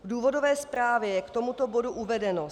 V důvodové zprávě je k tomuto bodu uvedeno: